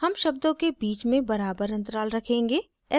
हम शब्दों के बीच में बराबर अंतराल रखेंगे